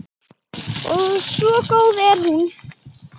Svo góð er hún.